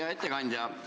Hea ettekandja!